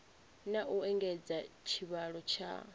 na u engedza tshivhalo tsha